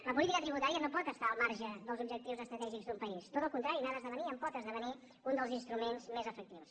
la política tributària no pot estar al marge dels objectius estratègics d’un país tot al contrari n’ha d’esdevenir i en pot esdevenir un dels instruments més efectius